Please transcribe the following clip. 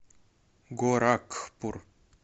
горакхпур